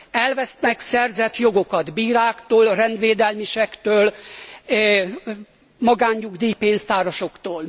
elvesznek szerzett jogokat bíráktól, rendvédelmisektől, magánnyugdíjpénztárasoktól.